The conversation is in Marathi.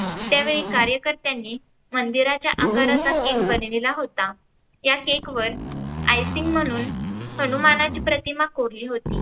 त्यावेळी कार्यकर्त्यांनी मंदिराच्या आकाराचा cake बनविला होता त्या cake वर icing म्हणून हनुमानाची प्रतिमा कोरली होती.